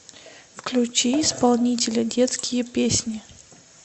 включи исполнителя детские песни